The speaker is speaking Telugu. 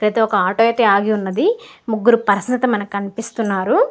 ఇక్కడ అయితే ఒక ఆటో అయితే ఆగి ఉన్నది. ముగ్గురు పర్సన్స్ అయితే మనకి కనిపిస్తున్నారు.